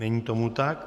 Není tomu tak.